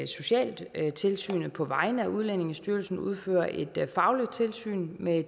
socialtilsynet på vegne af udlændingestyrelsen udfører et fagligt tilsyn med